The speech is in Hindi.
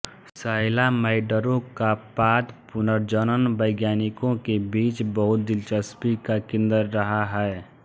सैलामैंडरों का पाद पुनर्जनन वैज्ञानिकों के बीच बहुत दिलचस्पी का केंद्र रहा है